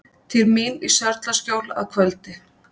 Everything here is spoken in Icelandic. Til mín í Sörlaskjól að kvöldi.